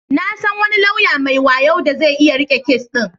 Na san wani lauya mai wayo da zai iya riƙe kes din.